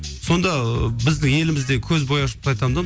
сонда біздің еліміздегі көзбояушылықты айтамын да